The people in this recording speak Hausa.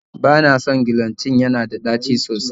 Bana son gelocin, yana da tɗaci sosai